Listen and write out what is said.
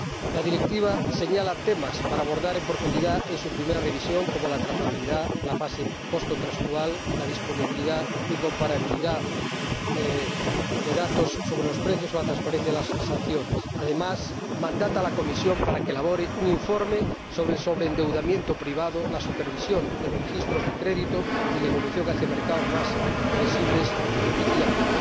La Directiva señala temas que deberán abordarse en profundidad en su primera revisión, como la trazabilidad, la fase postcontractual, la disponibilidad y comparabilidad de datos sobre los precios o la transparencia de las sanciones. Además, mandata a la Comisión para que elabore un informe sobre el sobreendeudamiento privado, la supervisión de los registros de crédito y la evolución hacia mercados más flexibles y fiables.